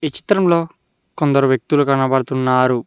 ఈ చిత్రంలో కొందరు వ్యక్తులు కనబడుతున్నారు.